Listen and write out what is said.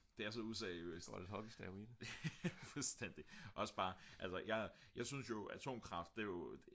det er så useriøst fuldstændig jeg synes jo atomkraft det jo